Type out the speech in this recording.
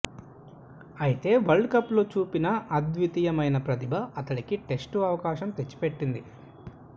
అయితే world cup లో చూపిన అద్వితీయమైన ప్రతిభ అతడికి టెస్టు అవకాశం తెచ్చిపెట్టింది